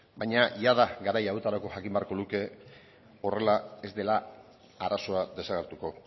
baina jada garai hauetarako jakin beharko luke horrela ez dela arazoa desagertuko